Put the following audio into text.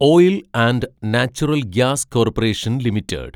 oil and natural gas corporation limited